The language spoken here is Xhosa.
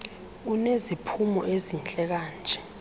uneziphumo ezihle kanje